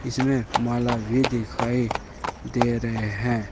इसमें माला भी दिखाई दे रहे हैं।